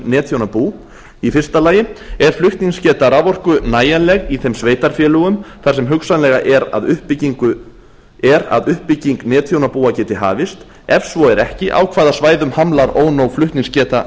netþjónabú fyrsta er flutningsgeta raforku nægjanleg í þeim sveitarfélögum þar sem hugsanlega er að uppbygging netþjónabúa geti hafist ef svo er ekki á hvaða svæðum hamlar ónóg flutningsgeta